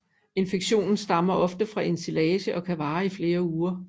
Infektionen stammer ofte fra ensilage og kan vare i flere uger